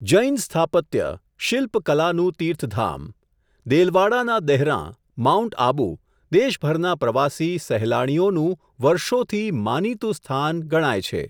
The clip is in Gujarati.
જૈન સ્થાપત્ય, શિલ્પ કલાનું તિર્થધામઃ, દેલવાડાના દહેરાં, માઉન્ટ આબુ, દેશભરના પ્રવાસી, સહેલાણીઓનું, વર્ષોથી, માનીતું સ્થાન, ગણાય છે.